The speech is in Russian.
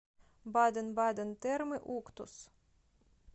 баден баден термы уктус